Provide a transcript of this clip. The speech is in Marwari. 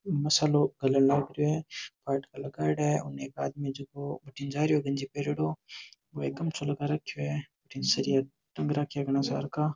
मसाला गलन लाग रहे है फाटका लगायेड़ा है और में एक आदमी जिको बडीने जारों है गंजी पैरोडो बो एक गमछों लगा राखे है सरिया टंग राखा घना सारा का।